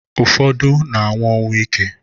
Ufodu na anwu onwuike